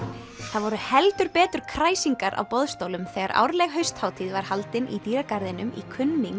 það voru heldur betur kræsingar á boðstólum þegar árleg hausthátíð var haldin í dýragarðinum í